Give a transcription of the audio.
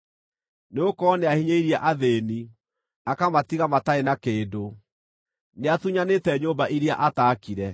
Nĩgũkorwo nĩahinyĩrĩirie athĩĩni, akamatiga matarĩ na kĩndũ; nĩatunyanĩte nyũmba iria ataakire.